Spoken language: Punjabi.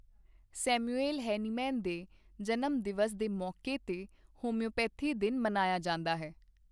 ਸੈਮੁਐਲ ਹੈਨੀਮੈਨ ਦੇ ਜਨਮਦਿਵਸ ਦੇ ਮੌਕੇ ਤੇ ਹੋੰਮਿਓਪੈਥੀ ਦਿਨ ਮਨਾਇਆ ਜਾਂਦਾ ਹੈ।